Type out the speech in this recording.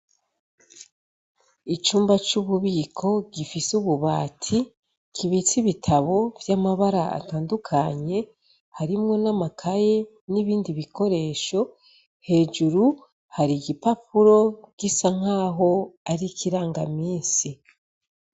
Icumba c'ububiko gifise ububati kibitse ibitabo vy'amabara atandukanye harimwo n'amakaye n'ibindi bikoresho. Hejuru hari igipapuro gisa nkaho ari ikirangamisi.